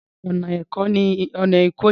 Rárá, ọ̀nà èkó ni ìmẹ̀kọ wà